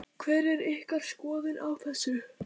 Hver er ykkar skoðun á þessu?